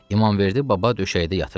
İmamverdi baba döşəkdə yatırdı.